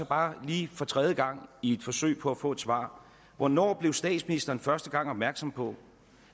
bare lige for tredje gang i et forsøg på at få et svar hvornår blev statsministeren første gang opmærksom på